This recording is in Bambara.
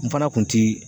N fana kun ti